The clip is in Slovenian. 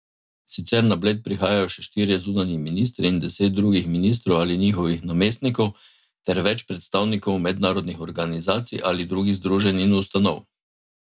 Sicer na Bled prihajajo še štirje zunanji ministri in deset drugih ministrov ali njihovih namestnikov ter več predstavnikov mednarodnih organizacij ali drugih združenj in ustanov.